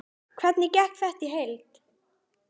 Hvernig gekk þetta í heild?